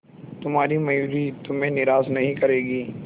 तुम्हारी मयूरी तुम्हें निराश नहीं करेगी